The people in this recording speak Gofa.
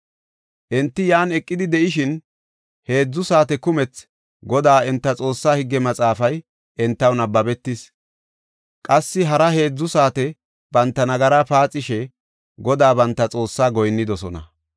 Enti yan eqidi de7ishin heedzu saate kumethi Godaa enta Xoossaa Higge Maxaafay entaw nabbabetis. Qassi hara heedzu saate banta nagaraa paaxishe Godaa banta Xoossaa goyinnidosona.